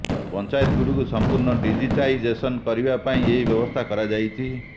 ପଞ୍ଚାୟତଗୁଡ଼ିକୁ ସଂପୂର୍ଣ୍ଣ ଡିଜିଟାଇଜେସନ କରିବା ପାଇଁ ଏହି ବ୍ୟବସ୍ଥା କରାଯାଇଛି